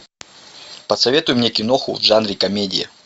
посоветуй мне киноху в жанре комедия